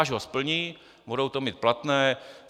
Až ho splní, budou to mít platné.